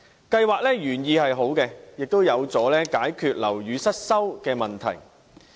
計劃的原意是好的，亦有助解決樓宇失修的問題。